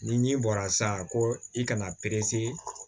Ni ji bɔra san ko i kana